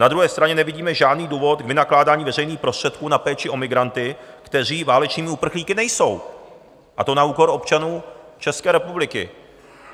Na druhé straně nevidíme žádný důvod k vynakládání veřejných prostředků na péči o migranty, kteří válečnými uprchlíky nejsou, a to na úkor občanů České republiky.